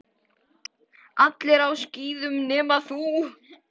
Allir á skíðum nema þú.